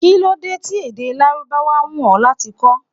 Kí ló dé tí èdè Lárúbáwá wù ó láti kó?